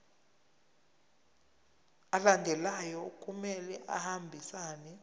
alandelayo kumele ahambisane